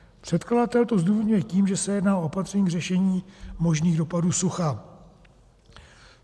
Předkladatel to zdůvodňuje tím, že se jedná o opatření k řešení možných dopadů sucha.